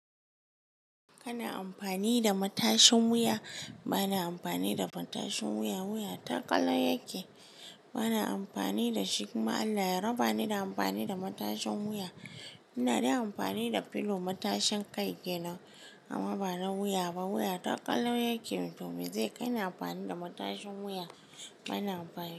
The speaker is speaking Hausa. Kana amfani da matashin wuya, ba na amfani da matashin wuya. Wuya ta ƙalau yake, ba na amfani da shi kuma Allah ya raba ni da amfani da matashin wuya. Ina dai amfani da pillow matashin kai ke nan amma ba na wuya ba. Wuya ta ƙalau yake. Mutumin zai kai ni amfani da matashin wuya, ba na amfani.